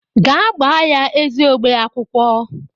Gaa gbaa ya eziogbe akwụkwọ!